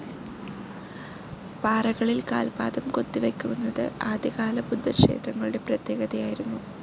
പാറകളിൽ കാൽപാദം കൊത്തി വെക്കുന്നത് ആദ്യ കാല ബുദ്ധക്ഷേത്രങ്ങളുടെ പ്രത്യേകതയായിരുന്നു.